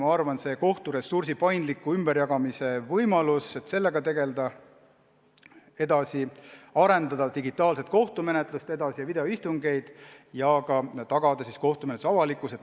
Eelmärgitud kohturessursi paindliku ümberjagamise võimalusega tuleb edasi tegeleda, digitaalset kohtumenetlust tuleb edasi arendada, teha videoistungeid ja tagada ka kohtumenetluse avalikkus.